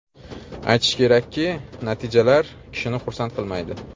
Aytish kerakki, natijalar kishini xursand qilmaydi.